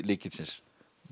lykilsins